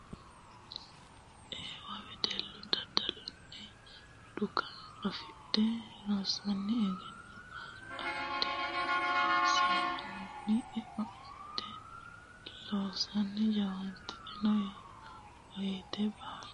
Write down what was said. Eewa wedellu daddalunni dhuqa affidhe rosunni egenno afidhe irshunni eo afidhe loosunni jawaattano woyte baalu hagiidhano wedellaho illacha mootimmano maate tuge uyite irko assanna jawaachishsha hasiisano.